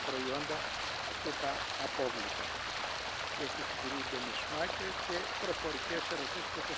verder aanmoedigen. Meer en beter recycleren is noodzakelijk, maar op zich onvoldoende om over te gaan tot een